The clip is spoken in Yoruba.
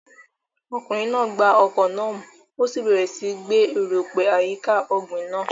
Ọkùnrin náà gba ọkọ́ náà mú, ó sì bẹ̀rẹ̀ síi gbẹ́ erùpẹ̀ àyíká ọ̀gbìn náà.